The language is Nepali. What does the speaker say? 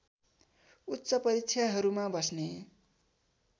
उच्च परीक्षाहरूमा बस्ने